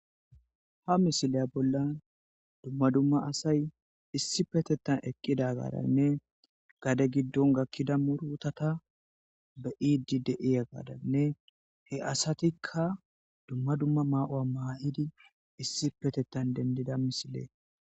Ha misiliya bola dumma dumma asayi issippetethani eqida garanne gade giddoni ekida murutata loidi deiya gadaninne he asaatikka dumma dumma mayuwa mayidi issippetethani denidida misile